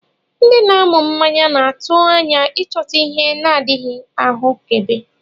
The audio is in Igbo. Ndị na-anụ mmanya na-atụ anya ịchọta ihe na-adịghị ahụkebe.